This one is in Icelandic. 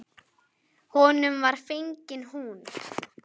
Honum var fengin hún.